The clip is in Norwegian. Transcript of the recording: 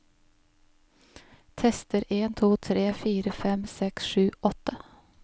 Tester en to tre fire fem seks sju åtte